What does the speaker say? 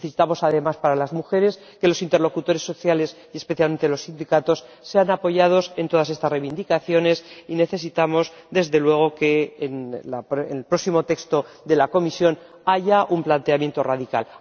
Necesitamos, además, para las mujeres que los interlocutores sociales y, especialmente, los sindicatos sean apoyados en todas estas reivindicaciones, y necesitamos, desde luego, que en el próximo texto de la Comisión haya un planteamiento radical.